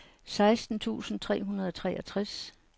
seksten tusind tre hundrede og treogtres